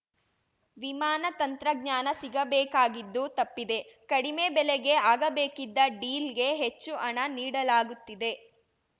ವಿಮಾನ ತಂತ್ರಜ್ಞಾನ ಸಿಗಬೇಕಾಗಿದ್ದು ತಪ್ಪಿದೆ ಕಡಿಮೆ ಬೆಲೆಗೆ ಆಗಬೇಕಿದ್ದ ಡೀಲ್‌ಗೆ ಹೆಚ್ಚು ಹಣ ನೀಡಲಾಗುತ್ತಿದೆ